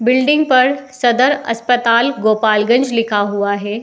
Building पर सदर अस्पताल गोपाल गंज लिखा हुआ है।